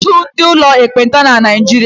E nweghị ọtụtụ ụlọ ndị ekpenta na Niijiria.